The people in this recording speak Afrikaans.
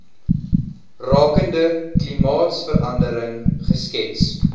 rakende klimaatsverandering geskets